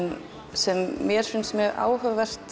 sem mér finnst mjög áhugaverð